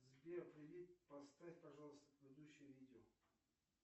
сбер привет поставь пожалуйста предыдущее видео